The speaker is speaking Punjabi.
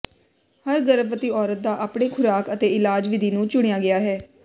ਹਰ ਗਰਭਵਤੀ ਔਰਤ ਦਾ ਆਪਣੇ ਖੁਰਾਕ ਅਤੇ ਇਲਾਜ ਵਿਧੀ ਨੂੰ ਚੁਣਿਆ ਗਿਆ ਹੈ